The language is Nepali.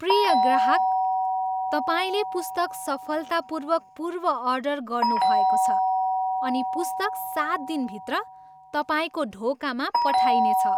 प्रिय ग्राहक! तपाईँले पुस्तक सफलतापूर्वक पूर्व अर्डर गर्नुभएको छ अनि पुस्तक सात दिनभित्र तपाईँको ढोकामा पठाइनेछ।